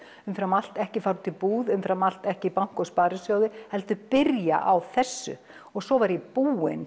umfram allt ekki fara út í búð umfram allt ekki banka og sparisjóði heldur byrja á þessu og svo var ég búin